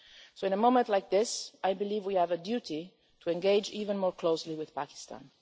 So in a moment like this, I believe we have a duty to engage even more closely with Pakistan.